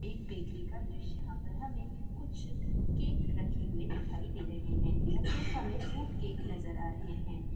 एक बेकरी का दृश्य है यहाँ पर हमें कुछ केक रखे हुए दिखाई दे रहे हैं यह केक हमें फ्रूट केक नज़र आ रहे हैं।